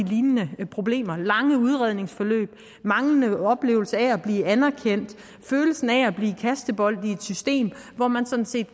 lignende problemer lange udredningsforløb manglende oplevelse af at blive anerkendt følelsen af at blive kastebold i et system og hvor man sådan set